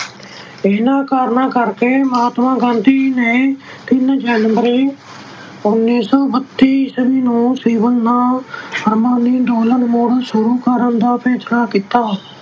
ਇਹਨਾਂ ਕਾਰਨਾਂ ਕਰਕੇ ਮਹਾਤਮਾ ਗਾਂਧੀ ਨੇ ਤਿੰਨ ਜਨਵਰੀ ਉੱਨੀ ਸੌ ਬੱਤੀ ਈਸਵੀ ਨੂੰ ਸਿਵਲ ਨਾ ਫੁਰਮਾਨੀ ਅੰਦੋਲਨ ਮੁੜ ਸ਼ੁਰੂ ਕਰਨ ਦਾ ਫੈਸਲਾ ਕੀਤਾ।